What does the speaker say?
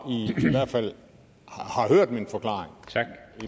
hørt min forklaring